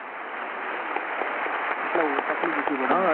એટલે તકલીફ ઓછી પડે.